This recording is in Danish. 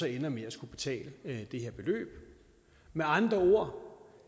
ender med at skulle betale det her beløb med andre ord